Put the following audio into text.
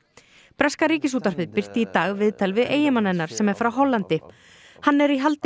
breska Ríkisútvarpið birti í dag viðtal við eiginmann hennar sem er frá Hollandi hann er í haldi